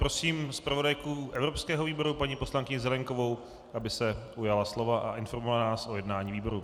Prosím zpravodajku evropského výboru paní poslankyni Zelienkovou, aby se ujala slova a informovala nás o jednání výboru.